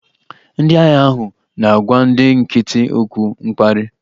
Ndị agha ahụ na-agwa ndị nkịtị okwu mkparị